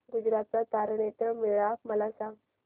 गुजरात चा तारनेतर मेळा मला सांग